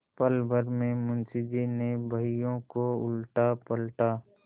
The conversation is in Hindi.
पलभर में मुंशी जी ने बहियों को उलटापलटा